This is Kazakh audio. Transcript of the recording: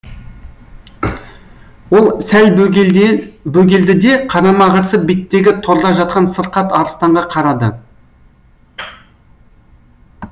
ол сәл бөгелді де қарама қарсы беттегі торда жатқан сырқат арыстанға қарады